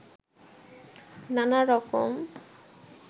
নানা রকম